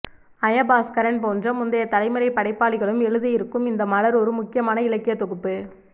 ஜயபாஸ்கரன் போன்ற முந்தைய தலைமுறை படைப்பாளிகளும் எழுதியிருக்கும் இந்த மலர் ஒரு முக்கியமான இலக்கியத் தொகுப்பு